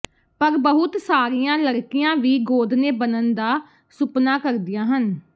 ਪਰ ਬਹੁਤ ਸਾਰੀਆਂ ਲੜਕੀਆਂ ਵੀ ਗੋਦਨੇ ਬਣਨ ਦਾ ਸੁਪਨਾ ਕਰਦੀਆਂ ਹਨ